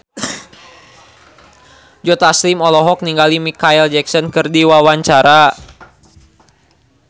Joe Taslim olohok ningali Micheal Jackson keur diwawancara